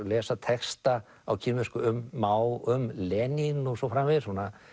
lesa texta á kínversku um Mao um Lenín og svo framvegis